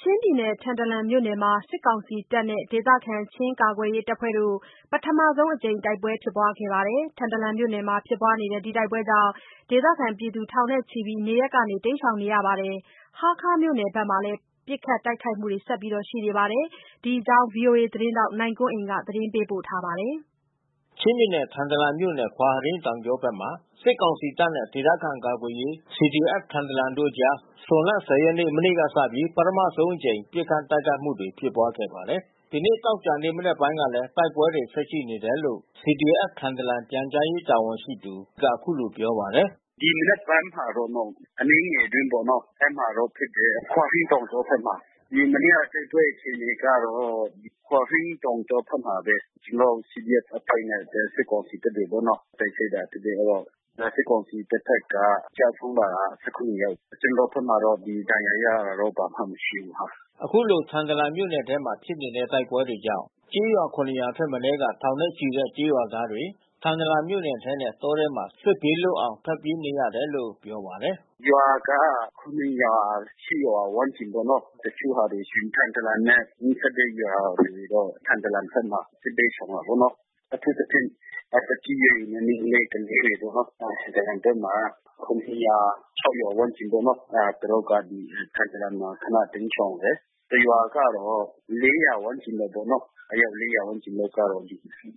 ချင်းပြည်နယ် ထန်ထလန်မြို့နယ်မှာ စစ်ကောင်စီတပ်နဲ့ ဒေသခံ ချင်းကာကွယ်ရေးအဖွဲ့တို့ ပထမဆုံးအကြိမ် တိုက်ပွဲဖြစ်ပွားခဲ့ပါတယ်။ ထန်တလန်မြို့နယ်မှာဖြစ်ပွါးတဲ့တိုက်ပွဲကြောင့် ဒေသခံထောင်ချီ နေရပ်ကနေတိမ်းရှောင်နေရပါတယ်။ ဟားခါးမြို့နယ်ဘက်မှာလည်း ပစ်ခတ်တိုက်ခိုက်မှုတွေ ဆက်ရှိနေပါတယ်။ ဒီအကြောင်း ဗွီအိုသတင်းထောက်နိုင်ကွန်းအိန်က သတင်းပေးပို့ထားပါတယ်။ ချင်းပြည်နယ်၊ ထန်တလန်မြို့နယ်၊ ခွာဟရိန်းတောင်ကြောဘက်မှာ စစ်ကောင်စီတပ်နဲ့ ဒေသခံကာကွယ်ရေး CDF-Thantlang တို့အကြား ဇွန်လ ၁၀ ရက် မနေ့ကစပြီး ပထမဆုံးအကြိမ် ပစ်ခတ်တိုက်ခိုက်မှုတွေဖြစ်ပွါးခဲ့ပါတယ်။ ဒီနေ့ သောကြာနေ့ မနက်ပိုင်းကလည်း တိုက်ပွဲတွေ ဆက်ရှိနေတယ်လို့ CDF-Thantlang ပြန်ကြားရေးတာဝန်ရှိသူတဦးက အခုလိုပြောပါတယ်။ "ဒီမနက်ပိုင်းမှာတော့ အနည်းငယ်အတွင်းပေါ့ အဲဒီမှာတော့ဖြစ်တယ်။ ခွာဟရိန်းတောင်ကြောဘက်မှာ။ ဒီမနေ့ကတိုက်ပွဲအခြေအနေကတော့ ခွာဟရိန်းတောင်ကြောဘက်မှာဘဲ ကျွန်တော်တို့ CDF အဖွဲ့နဲ့စစ်ကောင်စီအဖွဲ့တွေပေါ့နော တိုက်ခိုက်တာဖြစ်တယ်။ အဲဒီတော့ စစ်ကောင်စီတပ်ဘက်က ကျဆုံးတာက ၁၇ ယောက်။ ကျနော်တို့ဘက်မှာတော့ ဒဏ်ရာရတာဘာမှမရှိဘူး။" ခုလို ထန်တလန်မြို့နယ်ထဲမှာဖြစ်နေတဲ့ တိုက်ပွဲတွေကြောင့် ကျေးရွာ ၇ ရွာထက်မနည်းက ထောင်ချီတဲ့ ကျေးရွာသားတွေ ထန်တလန်မြို့ထဲနဲ့ တောထဲမှာ စစ်ဘေးလွတ်အောင် ထွက်ပြေးနေရတယ်လို့ တာဝန်ရှိသူ ကပြောပါတယ်။ "ရွာက ၇ ရွာ ၈ ရွာ ဝန်းကျင်ပေါ့နော်။ တချို့ဟာတွေ ထန်တလန်နဲ့နီးစပ်တဲ့ရွာတွေတော့ ထန်တလန်ဘက်မှာ စစ်ဘေးရှောင်တယ်ပေါ့နော်။ အထူးသဖြင့် သက်ကြီးရွယ်အိုနဲ့ မိန်းကလေးတွေပေါ့နော်။ ထန်တလန်ဘက်မှာ ၆၀၀၊ ၇၀၀ ဝန်းကျင်ပေါ့နော်။ သူတို့က ထန်တလန်မှာ ခနတိမ်းရှောင်တယ်။ တရွာကတော့ ၄၀၀ ဝန်းကျင်ပေါ့နော်။ အယောက် ၄၀၀ ဝန်းကျင်လောက်ကတော့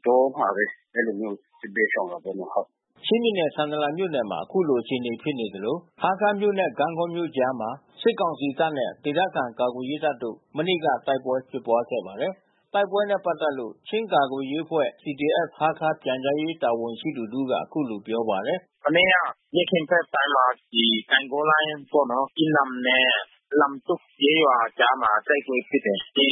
တောမှာပဲ အဲဒီလိုမျိုးစစ်ဘေးရှောင်တာပေါ့နော်။" ချင်းပြည်နယ် ထန်တလန်မြို့နယ်မှာ ခုလို အခြေအနေဖြစ်နေသလို ဟားခါးမြို့နဲ့ ဂန့်ဂေါမြို့ကြားမှာ စစ်ကောင်စီတပ်နဲ့ ဒေသခံကာကွယ်ရေးတပ်တို့ မနေ့က တိုက်ပွဲဖြစ်ပွါးခဲ့ပါတယ်။ တိုက်ပွဲနဲ့ပတ်သက်လို့ ချင်းကာကွယ်ရေးအဖွဲ့ CDF-Hakha ပြန်ကြားရေး တာဝန်ရှိသူတဦးက ခုလိုပြောပါတယ်။ "မနေ့က နေ့ခင်းဘက်ပိုင်းမှာ ဒီ ဂန့်ဂေါလိုင်းပေါ့နော်။ ကီးနမ်နဲ့လမ်တွတ်ကျေးရွာကြားမှာ တိုက်ပွဲဖြစ်တယ်။ ဒီ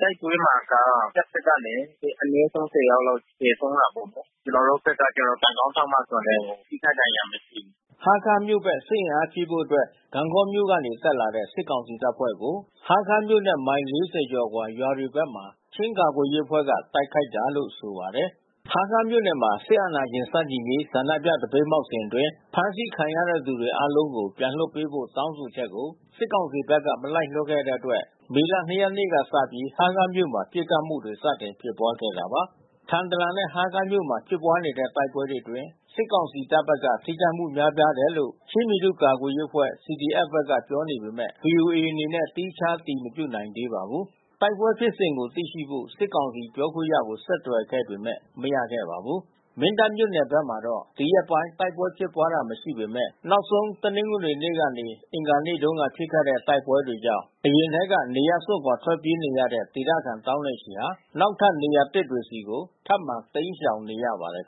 တိုက်ပွဲမှာက တပ်ဖက်ကလည် အနည်းဆုံး ၁၀ ယောက်လောက် သေဆုံးတာပေါ့။ ကျနော်တို့ဘက်ကကျတော့ ကံကောင်းထောက်မစွာနဲ့ ထိခိုက်ဒဏ်ရာမရှိဘူး။" ဟားခါးမြို့ဘက် စစ်အင်အားဖြည့်ဖို့အတွက် ဂန့်ဂေါမြို့ကနေတက်လာတဲ့ စစ်ကောင်စီတပ်ဖွဲ့ကို ဟားခါးမြို့နဲ့မိုင် ၄၀ အကျော် ရွာတွေဘက်မှာ ချင်းကာကွယ်ရေးအဖွဲ့ဘက်က တိုက်ခိုက်တာလို့ဆိုပါတယ်။ ဟားခါးမြို့နယ်မှာ စစ်အာဏာရှင်ဆန့်ကျင်ရေးဆန္ဒပြသပိတ်မှောက်စဉ်အတွင်း ဖမ်းဆီးခံထားရသူတွေ အားလုံးကို ပြန်လွှတ်ပေးဖို့တောင်းဆိုချက်ကို စစ်ကောင်စီဘက်က မလိုက်လျောတဲ့အတွက် မေလ ၂ ရက်နေ့ကစပြီး ဟားခါးမြို့မှာ ပစ်ခတ်မှုတွေ စတင်ဖြစ်ပွားခဲ့တာပါ။ ထန်တလန်နဲ့ဟားခါးမြို့နယ်တွေမှာဖြစ်ပွါးတဲ့တိုက်ပွဲတွေအတွင်း စစ်ကောင်စီတပ်ဘက်က ထိခိုက်မှုများပြားတယ်လို့ ချင်းပြည်သူ့ကာကွယ်ရေး CDF ဘက်က ပြောပေမဲ့ ဗွီအိုအေအနေနဲ့ သီးခြားအတည်မပြုနိုင်သေးပါဘူး။ တိုက်ပွဲဖြစ်စဉ်ကိုသိရှိဖို့ စစ်ကောင်စီပြောခွင့်ရကို ဆက်သွယ်ခဲ့ပေမဲ့မရခဲ့ပါဘူး။ မင်းတပ်မြို့နယ်ဘက်မှာတော့ ဒီရက်ပိုင်း တိုက်ပွဲဖြစ်ပွါးတာမရှိပေမဲ့ နောက်ဆုံးဖြစ်ခဲ့တဲ့ တိုက်ပွဲတွေကြောင့် အရင်ထဲက နေရပ်စွန့်ထွက်ပြေးနေရတဲ့ ဒေသခံ သောင်းနဲ့ချီဟာ နောက်ထပ် နေရာသစ်တွေဆီ ထပ်မံတိမ်းရှောင်နေကြရပါတယ်